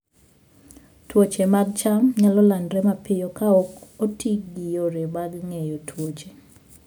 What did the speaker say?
Tuoche mag cham nyalo landore mapiyo ka ok oti gi yore mag geng'o tuoche.